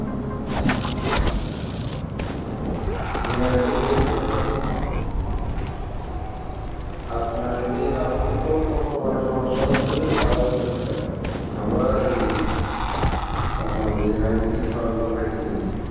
হ্যাঁ ঐটা ঠিক আছে, এখন আপনার ঐযে আমাদের তো বর্তমানে সমস্যা হচ্ছে যে খাবারের সমস্যা। আমরা ঐ আপনার যে hygienic খাবারগুলা পাইতেছি না